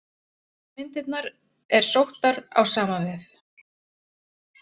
Myndirnar er sóttar á sama vef.